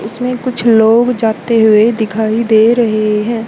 इसमें कुछ लोग जाते हुए दिखाई दे रहे हैं।